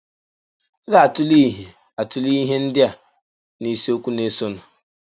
A ga - atụle ihe - atụle ihe ndị a n’isiokwu na - esonụ.